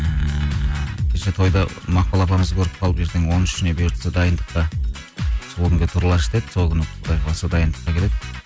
ііі кеше тойда мақпал апамызды көріп қалып ертең он үшіне бұйыртса дайындыққа сол күнге туралашы деді сол күні құдай қаласа дайындыққа келеді